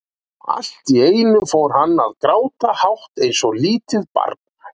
Allt í einu fór hann að gráta, hátt eins og lítið barn.